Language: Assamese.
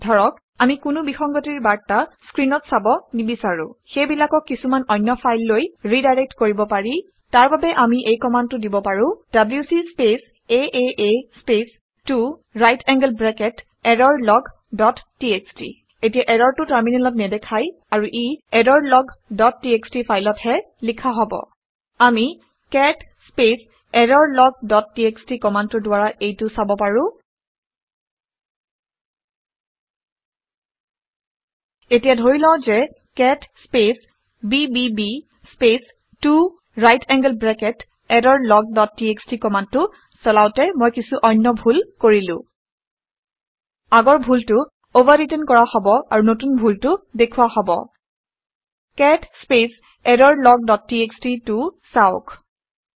এতিয়া ধৰা হওক আমি কোনো ভুল খবৰ বিসংগতিৰ বাৰ্তা স্ক্ৰিনত চাব নিবিচাৰো । সিহঁতক সেইবিলাকক কিছুমান অন্য ফাইললৈ ৰিডাইৰেক্ট কৰিব পাৰি। তাৰ বাবে আমি এই কামাণ্ডটো দিব পাৰো - WC space ah space 2 right angled bracket error log dot TXT এতিয়া এৰৰটো টাৰ্মিনেলত নেদেখাই আৰু ই এৰৰলগ ডট টিএক্সটি ফাইলত হে লিখা হব আমি cat space error log dot TXT কামাণ্ডটোৰ দ্বাৰা এইটো চাব পাৰো। এতিয়া ধৰি লওঁ ঘে cat space BBB space 2 right angled bracket error log dot TXT কামাণ্ডটো চলাওঁতে মই কিছু অন্য ভুল কৰিলো। আগৰ ভুলটো অভাৰৰিটেন কৰা হব আৰু নতুন ডুলটো দেখুওৱা হব। Cat space error log dot txt টো চাওক